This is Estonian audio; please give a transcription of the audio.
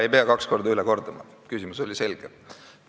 Ei pea kaks korda ütlema, küsimus oli selge.